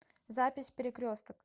запись перекресток